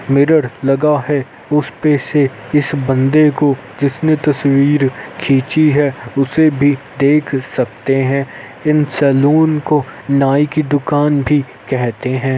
mirror लगा है उसपे से इस बंदे को जिसने यह तस्वीर खिची है उसे भी देख सकते है | इन सलोन को नाई कि दुकान भी कहते है |